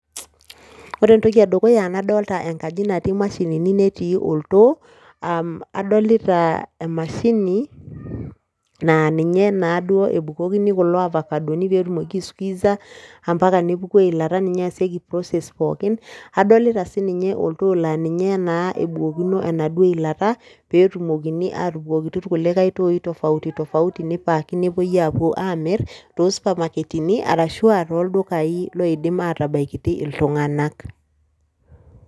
Ore entoki e dukuya nadolta enkaji nati mashinini, netii oltoo, um adolita emashini naa ninye naa duo ebukokini kulo avacadoni peetumoki aisqueeza a mpaka nepuku eilata ninye easieki process pookin, adolita sininye oltoo laa ninye naa ebukokino enaduo ilata peetumokini aatubukokiti irkulikai tooi tofauti tofauti nipaacki nepuoi aapuo aamir too supermarketini arashu aa tooldukai loidim atabaikiti iltung'anak.